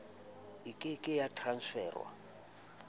e ke ke ya transferwa